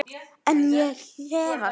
En ég efast.